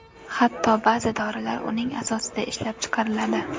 Hatto ba’zi dorilar uning asosida ishlab chiqariladi.